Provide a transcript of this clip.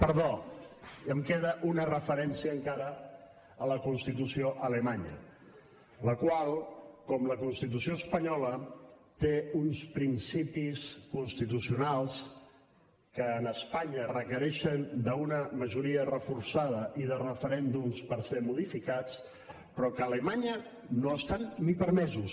perdó em queda una referència encara a la constitució alemanya la qual com la constitució espanyola té uns principis constitucionals que en espanya requereixen una majoria reforçada i referèndums per ser modificats però que a alemanya no estan ni permesos